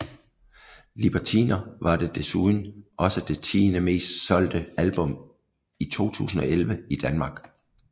Libertiner var det desuden også det tiende mest solgte album i 2011 i Danmark